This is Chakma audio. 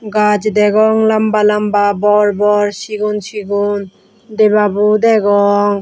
gaj degong lamba lamba bor bor sigon sigon debabo degong.